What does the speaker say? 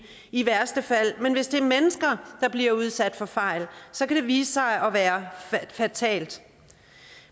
i værste fald rettes men hvis det er mennesker der bliver udsat for fejl så kan det vise sig at være fatalt